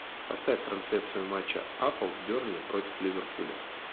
поставь трансляцию матча апл бернли против ливерпуля